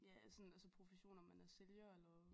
Ja altså sådan altså profession om man er sælger eller